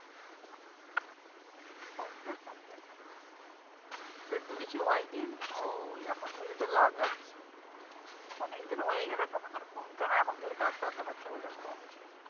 কমবে কমবে, কেন কমবে না চোখের তো কিছু হয়নি ও এখন থেকে তো লাগাচ্ছে অনেক দিন হয়ে গেলে তখন তো আর কমতো না এখন থেকে ডাক্তার দেকাচ্ছে বলে কমছে